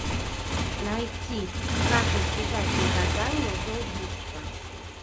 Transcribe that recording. найти как избежать наказания за убийство